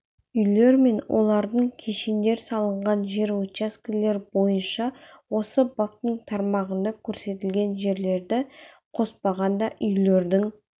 үйлер мен олардың кешендер салынған жер учаскелер бойынша осы баптың тармағында көрсетілген жерлерді қоспағанда үйлердің